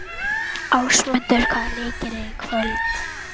Ásmundur, hvaða leikir eru í kvöld?